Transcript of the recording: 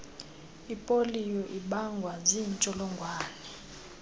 ipoliyo ibangwa ziintsholongwane